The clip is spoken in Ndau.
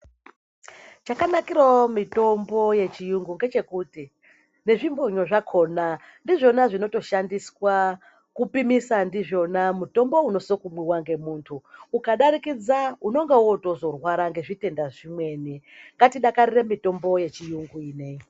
Chakanakirawo mitombo yechiyungu ngechekuti nezvimbonyo zvakhona ndizvona zvinotoshandiswa kupimisa ndizvona mutombo unosokumwiwa ngemuntu ukadarikidza unonga wotozorwara ngezvitenda zvimweni ngatidakarire mitombo yechiyungu ineyi.